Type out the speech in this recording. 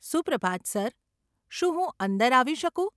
સુપ્રભાત sir, શું હું અંદર આવી શકું?